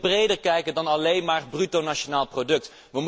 Wij moeten verder kijken dan alleen naar bruto nationaal product.